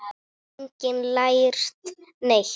Hefur enginn lært neitt?